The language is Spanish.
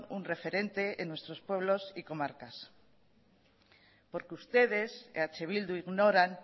un referente en nuestros pueblos y comarcas porque ustedes eh bildu ignoran